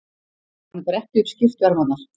Hann bretti upp skyrtuermarnar.